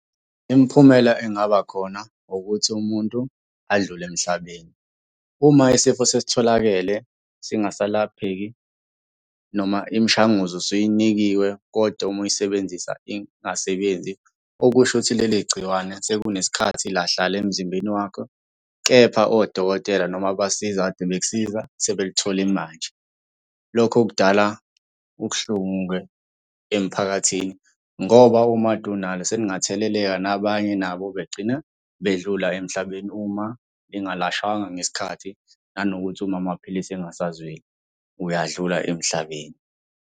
Imiphumela engaba khona ukuthi umuntu adlule emhlabeni. Uma isifo sesitholakele singasalapheki noma imishanguzo usuyinikiwe koda uma uyisebenzisa ingasebenzi. Okusho ukuthi leli gciwane sekunesikhathi lahlala emzimbeni wakhe kepha odokotela noma abasize kade bekusiza, sebelithole manje. Lokho kudala ubuhlungu-ke emphakathini, ngoba uma kade unalo selingatheleleka nabanye nabo begcina bedlula emhlabeni uma lingalashwanga ngesikhathi, nanokuthi uma amaphilisi engasazweli, uyadlula emhlabeni.